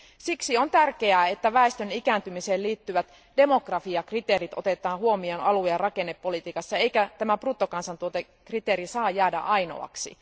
Siksi on tärkeää, että väestön ikääntymiseen liittyvät demografiakriteerit otetaan huomioon alue ja rakennepolitiikassa eikä tämä bruttokansantuotekriteeri saa jäädä ainoaksi.